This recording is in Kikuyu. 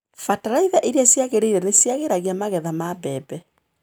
Bataraitha iria ciagĩrĩire nĩciagĩragia magetha ma mbembe.